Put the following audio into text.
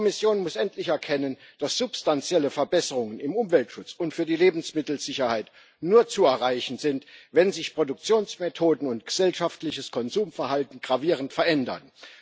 Die Kommission muss endlich erkennen, dass substanzielle Verbesserungen im Umweltschutz und für die Lebensmittelsicherheit nur zu erreichen sind, wenn sich Produktionsmethoden und gesellschaftliches Konsumverhalten gravierend verändern.